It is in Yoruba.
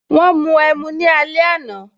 Wọn mu ẹmu ní alẹ àná